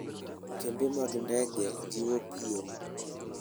Kembe mag ndege jiwo piem.